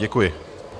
Děkuji.